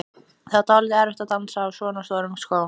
Það var dálítið erfitt að dansa á svona stórum skóm.